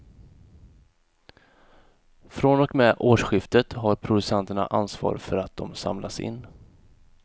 Från och med årsskiftet har producenterna ansvar för att de samlas in.